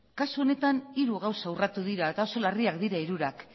kasu honetan hiru gauza urratu dira eta oso larriak dira hirurak